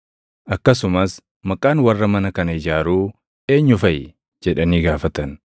Akkasumas, “Maqaan warra mana kana ijaaruu eenyu faʼi?” jedhanii gaafatan.